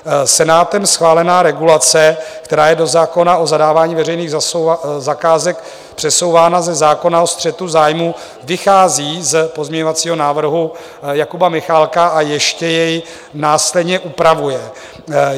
Senátem schválená regulace, která je do zákona o zadávání veřejných zakázek přesouvána ze zákona o střetu zájmů, vychází z pozměňovacího návrhu Jakuba Michálka a ještě jej následně upravuje.